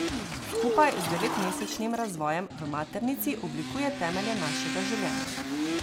Skupaj z devetmesečnim razvojem v maternici oblikuje temelje našega življenja.